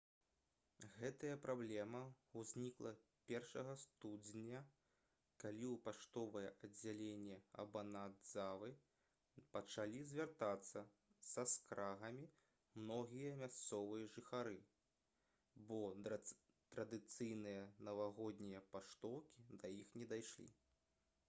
гэтая праблема ўзнікла 1 студзеня калі ў паштовае аддзяленне абанадзавы пачалі звяртацца са скаргамі многія мясцовыя жыхары бо традыцыйныя навагоднія паштоўкі да іх не дайшлі